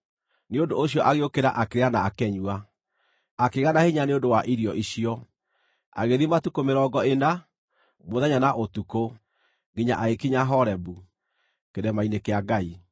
Nĩ ũndũ ũcio agĩũkĩra akĩrĩa na akĩnyua. Akĩgĩa na hinya nĩ ũndũ wa irio icio, agĩthiĩ matukũ mĩrongo ĩna, mũthenya na ũtukũ, nginya agĩkinya Horebu, kĩrĩma-inĩ kĩa Ngai.